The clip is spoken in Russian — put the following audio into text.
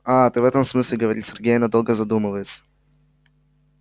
а ты в этом смысле говорит сергей и надолго задумывается